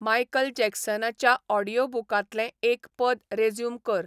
Michael जॅकसनाच्या ऑडीयोबुकांतलें एक पद रेझ्युम कर